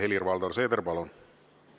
Helir-Valdor Seeder, palun!